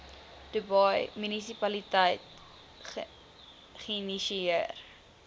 dubai munisipaliteit geïnisieer